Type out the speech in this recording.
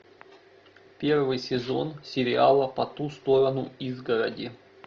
первый сезон сериала по ту сторону изгороди